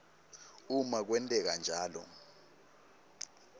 uma kwenteka njalo